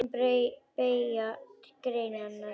Trén beygja greinar sínar.